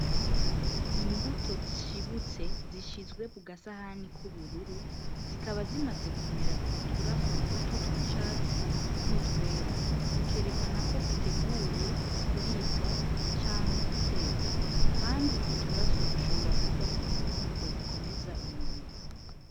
Imbuto zishibutse zishizwe ku gasahani k'ubururu, zikaba zimaze kumera uturaso duto tw'icatsi n'utwera. Zikerekana ko ziteguye kuribwa canke gutekwa. Kandi utwo turaso ushobora kuvamwo imfungurwa zikomeza umubiri.